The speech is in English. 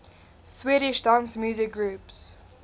swedish dance music groups